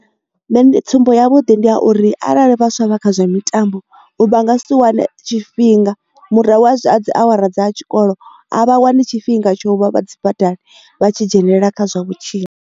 Nṋe tsumbo ya vhuḓi ndi ya uri arali vhaswa vha kha zwa mitambo u vha nga si wane tshifhinga murahu a zwi a dzi awara dza tshikolo a vha wani tshifhinga tsho vha vhadzi badani vhatshi dzhenelela kha zwa vhutshilo.